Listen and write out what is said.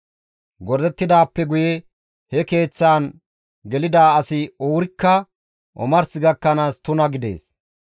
Gordettidaappe guye he keeththan gelida asi wurikka omars gakkanaas tuna gidees.